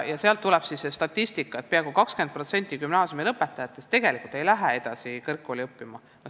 Sealt tuleb see statistika, et peaaegu 20% gümnaasiumi lõpetanutest ei lähe edasi kõrgkooli.